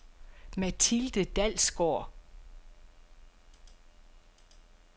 Mathilde Dalsgaard